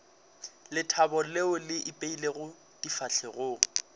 lethabo leo le ipeilego difahlegong